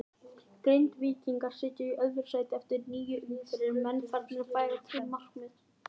Grindvíkingar sitja í öðru sæti eftir níu umferðir, eru menn farnir að færa til markmið?